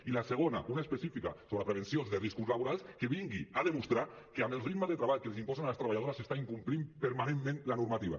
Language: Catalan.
i la segona una específica sobre prevenció de riscos laborals que vingui a demostrar que amb el ritme de treball que els imposen a les treballadores s’està incomplint permanentment la normativa